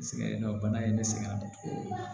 Sɛgɛn dɔ bana ye ne sɛgɛn